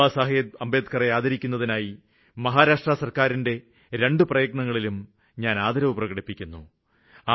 ബാബാസാഹേബ് അംബേദ്ക്കറെ ആദരിക്കുന്നതിനായി മഹാരാഷ്ട്ര സര്ക്കാരിന്റെ രണ്ടു പ്രയത്നങ്ങളിലും ഞാന് ആദരവ് പ്രകടിപ്പിക്കുന്നു